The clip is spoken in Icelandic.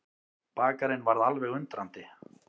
Bakarinn varð alveg undrandi.